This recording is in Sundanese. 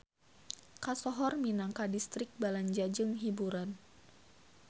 Kasohor minangka distrik balanja jeung hiburan.